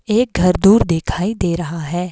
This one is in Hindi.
एक घर दूर दिखाई दे रहा है।